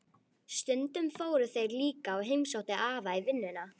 Stundum fóru þeir líka og heimsóttu afa í vinnuna.